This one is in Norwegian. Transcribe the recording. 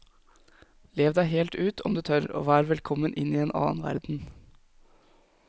Lev deg helt ut, om du tør, og vær velkommen inn i en annen verden.